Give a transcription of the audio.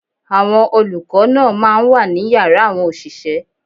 Àwọn olùkọ́ náà máa ń wà ní yàrá àwọn òṣìṣẹ́.